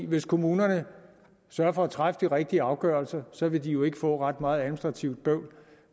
hvis kommunerne sørger for at træffe de rigtige afgørelser så vil de jo ikke få ret meget administrativt